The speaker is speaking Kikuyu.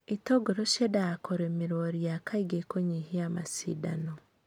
itũngũrũ ciendaga kurĩmĩrwo ria kaingĩ kũnyihia macidano.